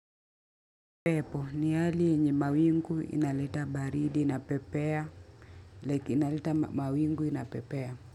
Pepo ni hali yenye mawingu inaleta baridi inapepea like inaleta mawingu inapepea.